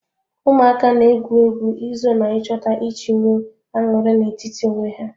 Ụmụaka na-egwu egwu izo na ịchọta iji nwee aṅụrị na-etiti onwe ya.